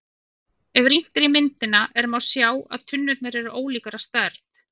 Ef rýnt er í myndina er má sjá að tunnurnar eru ólíkar að stærð.